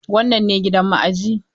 Wannan ne gidan ma'ajiyi.